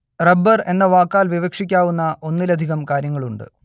rubber എന്ന വാക്കാൽ വിവക്ഷിക്കാവുന്ന ഒന്നിലധികം കാര്യങ്ങളുണ്ട്